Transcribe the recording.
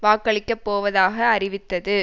வாக்களிக்கப்போவதாக அறிவித்தது